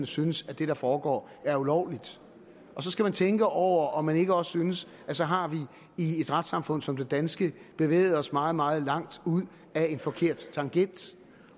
synes at det der foregår er ulovligt og så skal man tænke over om man ikke også synes at så har vi i et retssamfund som det danske bevæget os meget meget langt ud ad en forkert tangent